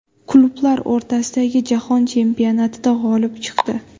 Klublar o‘rtasidagi Jahon chempionatida g‘olib chiqdi.